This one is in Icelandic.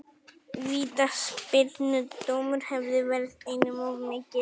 Vítaspyrnudómur hefði verið einum of mikið.